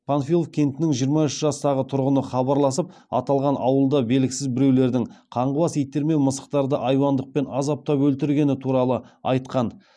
панфилов кентінің жиырма үш жастағы тұрғыны хабарласып аталған ауылда белгісіз біреулердің қаңғыбас иттер мен мысықтарды айуандықпен азаптап өлтіргені туралы айтқан